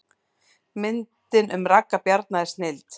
Myndin um Ragga Bjarna er snilld